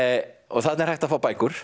þarna er hægt að fá bækur